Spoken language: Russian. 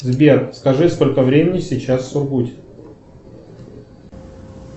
сбер скажи сколько времени сейчас в сургуте